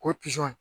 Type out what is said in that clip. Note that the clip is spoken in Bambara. K'o pizɔn